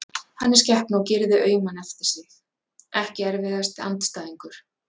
Hann er skepna og gerir þig auman eftir sig Ekki erfiðasti andstæðingur?